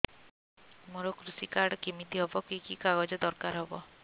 ମୋର କୃଷି କାର୍ଡ କିମିତି ହବ କି କି କାଗଜ ଦରକାର ହବ